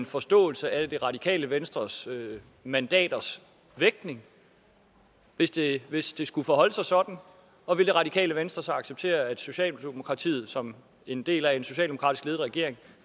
forståelse af det radikale venstres mandaters vægtning hvis det hvis det skulle forholde sig sådan og vil det radikale venstre så acceptere at socialdemokratiet som en del af en socialdemokratisk ledet regering